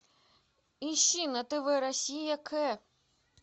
ищи на тв россия к